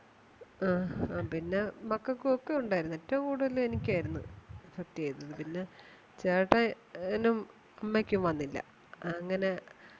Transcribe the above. പിന്നെ മക്കൾക്കും ഒക്കെ ഉണ്ടായിരുന്നു ഏറ്റവും കൂടുതൽ എനിക്കായിരുന്നു affect ചെയ്തത് പിന്നെ ചേട്ടനും അമ്മയ്ക്കും വന്നില്ല അങ്ങനെ